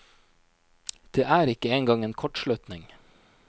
Det er ikke engang en kortslutning.